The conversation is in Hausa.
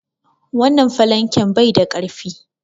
Wannan falanken bai da ƙarfi.